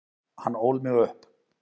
Hann ól mig upp.